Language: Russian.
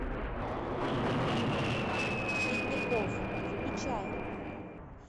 ледников включай